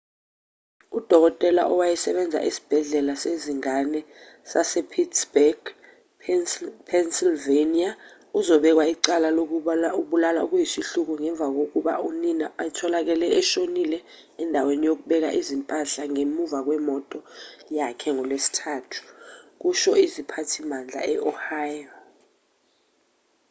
udokotela owayesebenza esibhedlela sezingane sasepittsburgh epennsylvania uzobekwa icala lokubulala okuyisihluku ngemva kokuba unina etholakale eshonile endaweni yokubeka izimpahla ngemuva kwemoto yakhe ngolwesithathu kusho iziphathimandla e-ohio